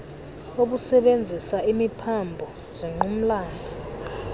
obusebenzisa imiphambo zingqumlana